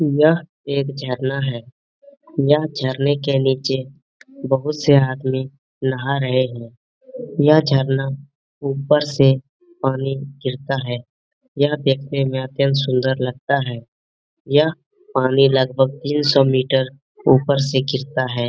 यह एक झरना है। यह झरने के नीचे बहुत से आदमी नहा रहे है। यह झरना ऊपर से पानी गिरता है। यह देखने में अत्यंत सुंदर लगता है। यह पानी लगभग तीन सौ मीटर ऊपर से गिरता है।